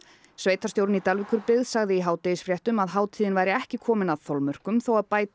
sveitarstjórinn í Dalvíkurbyggð sagði í hádegisfréttum að hátíðin væri ekki komin að þolmörkum þó að bæta